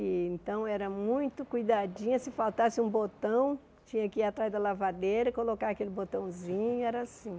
E então era muito cuidadinha, se faltasse um botão, tinha que ir atrás da lavadeira, colocar aquele botãozinho, era assim.